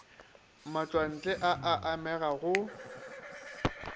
matšwantle a a amega go